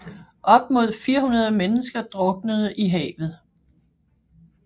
Op mod 400 mennesker druknede i havet